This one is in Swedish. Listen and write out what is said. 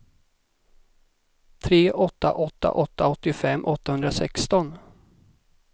tre åtta åtta åtta åttiofem åttahundrasexton